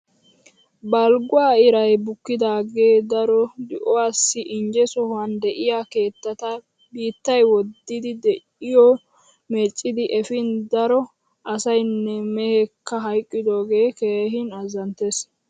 Balgguwa iray bukkidaagee daro di'uwassi inje sohuwan de'iya keettata biittay woddidi di'oy meeccidi efin daro asayinne meheekka hayiqqodoogee keehin azanttees.